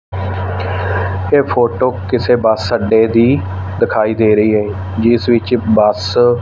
ਇਹ ਫੋਟੋ ਕਿਸੇ ਬੱਸ ਅੱਡੇ ਦੀ ਦਿਖਾਈ ਦੇ ਰਹੀ ਹੈ ਜਿਸ ਵਿੱਚ ਬਸ --